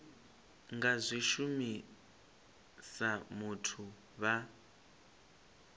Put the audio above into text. nga zwi shumisa musi vha